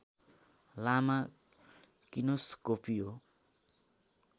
लामा किनोस्कोपिओ